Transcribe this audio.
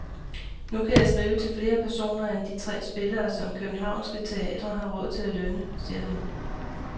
Nu kan jeg skrive til flere personer end de tre spillere, som københavnske teatre har råd til at lønne, siger han.